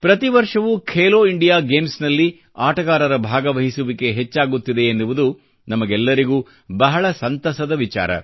ಪ್ರತಿ ವರ್ಷವೂ ಖೇಲೋ ಇಂಡಿಯಾ ಗೇಮ್ಸ್ನಲ್ಲಿ ಆಟಗಾರರ ಭಾಗವಹಿಸುವಿಕೆ ಹೆಚ್ಚಾಗುತ್ತಿದೆ ಎನ್ನುವುದು ನಮಗೆಲ್ಲರಿಗೂ ಬಹಳ ಸಂತಸದ ವಿಚಾರ